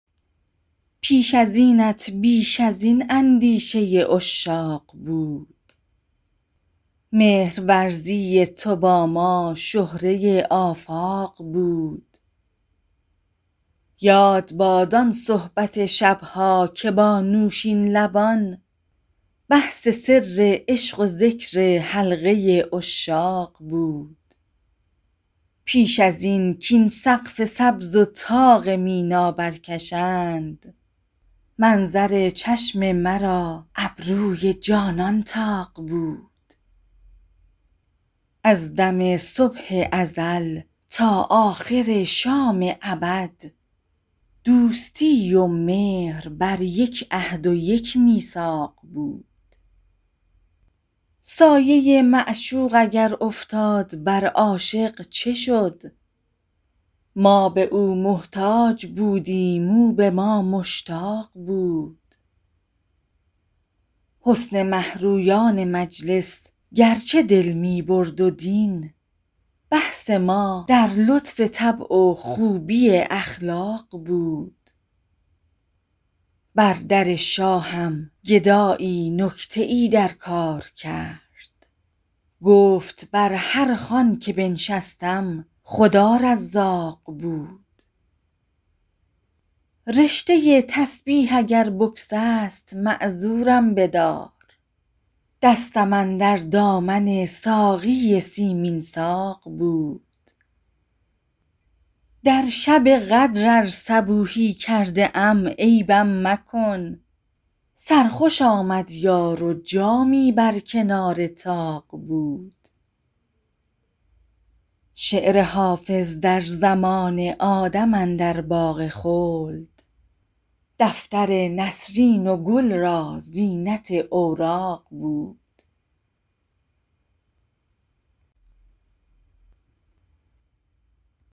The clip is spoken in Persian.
پیش از اینت بیش از این اندیشه عشاق بود مهرورزی تو با ما شهره آفاق بود یاد باد آن صحبت شب ها که با نوشین لبان بحث سر عشق و ذکر حلقه عشاق بود پیش از این کاین سقف سبز و طاق مینا برکشند منظر چشم مرا ابروی جانان طاق بود از دم صبح ازل تا آخر شام ابد دوستی و مهر بر یک عهد و یک میثاق بود سایه معشوق اگر افتاد بر عاشق چه شد ما به او محتاج بودیم او به ما مشتاق بود حسن مه رویان مجلس گرچه دل می برد و دین بحث ما در لطف طبع و خوبی اخلاق بود بر در شاهم گدایی نکته ای در کار کرد گفت بر هر خوان که بنشستم خدا رزاق بود رشته تسبیح اگر بگسست معذورم بدار دستم اندر دامن ساقی سیمین ساق بود در شب قدر ار صبوحی کرده ام عیبم مکن سرخوش آمد یار و جامی بر کنار طاق بود شعر حافظ در زمان آدم اندر باغ خلد دفتر نسرین و گل را زینت اوراق بود